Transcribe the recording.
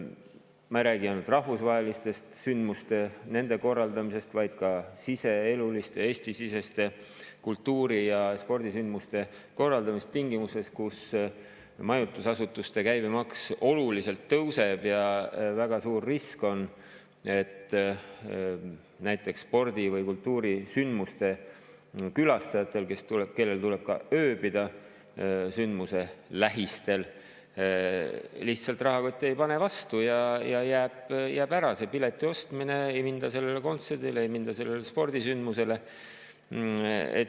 Ma ei räägi ainult rahvusvaheliste sündmuste korraldamisest, vaid ka Eesti-siseste kultuuri‑ ja spordisündmuste korraldamisest tingimustes, kus majutusasutuste käibemaks oluliselt tõuseb ja väga suur risk on, et näiteks spordi‑ või kultuurisündmuse külastajatel, kellel tuleb ööbida sündmuse lähistel, lihtsalt rahakott ei pane vastu ja jääb ära see pileti ostmine, ei minda kontserdile, ei minda spordisündmusele.